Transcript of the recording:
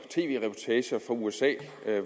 fra usa